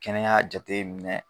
Kɛnɛya jateminɛ